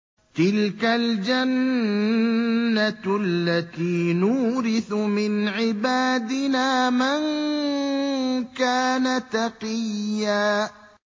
تِلْكَ الْجَنَّةُ الَّتِي نُورِثُ مِنْ عِبَادِنَا مَن كَانَ تَقِيًّا